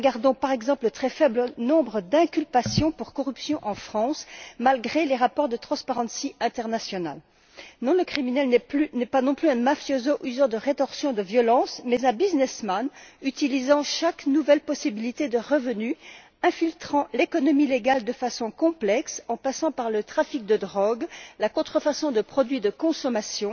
Regardons, par exemple, le très faible nombre d'inculpations pour corruption en France, malgré les rapports de Transparency International Non, le criminel n'est pas non plus un mafioso qui use de rétorsion, de violence, mais un businessman, qui utilise chaque nouvelle possibilité de revenu, qui infiltre l'économie légale de façon complexe en passant par le trafic de drogue, la contrefaçon de produits de consommation